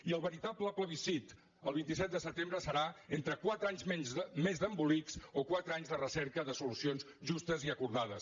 i el veritable plebiscit el vint set de setembre serà entre quatre anys més d’embolics o quatre anys de recerca de solucions justes i acordades